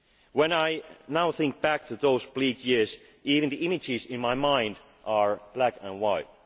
university. When I now think back to those bleak years, even the images in my mind are black